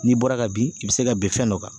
N'i bɔra ka bin, i bɛ se ka bin fɛn dɔ kan.